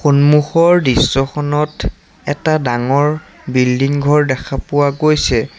সন্মুখৰ দৃশ্যখনত এটা ডাঙৰ বিল্ডিং ঘৰ দেখা পোৱা গৈছে।